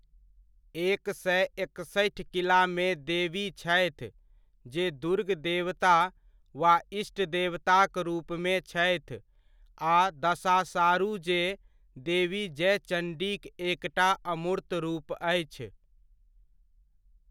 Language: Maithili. एक सए एकसठि किलामे देवी छथि जे दुर्ग देवता वा इष्ट देवताक रूपमे छथि आ दसाशारु जे देवी जयचंडीक एकटा अमूर्त्त रूप अछि।